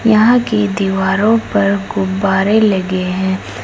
यहां की दीवारों पर गुब्बारे लगे हैं।